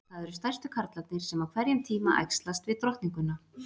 Það eru stærstu karlarnir sem á hverjum tíma æxlast við drottninguna.